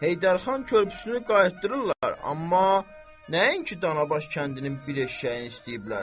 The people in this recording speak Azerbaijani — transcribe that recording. Heydər xan körpüsünü qaytardırırdılar, amma nəinki danabaş kəndinin bir eşşəyini istəyiblər.